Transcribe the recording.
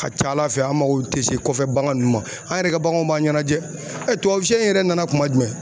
A ka ca Ala fɛ an maKo tɛ se kɔfɛ bagan ninnu ma, an yɛrɛ ka baganw b'an ɲɛnajɛ , tubabu sɛ yɛrɛ nana kuma jumɛn